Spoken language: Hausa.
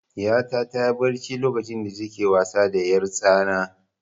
Ɗiyata ta yi barci lokacin da ta ke wasa da 'yartsana.